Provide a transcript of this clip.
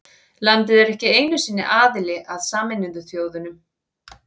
Landið er ekki einu sinni aðili að Sameinuðu þjóðunum.